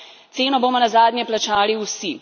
Ceno bomo nazadnje plačali vsi.